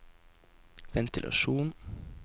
ventilasjon